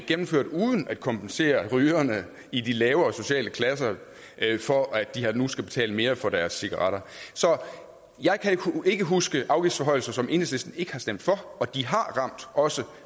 gennemført uden at kompensere rygerne i de lavere sociale klasser for at de nu skal betale mere for deres cigaretter så jeg kan ikke huske afgiftsforhøjelser som enhedslisten ikke har stemt for og de har ramt også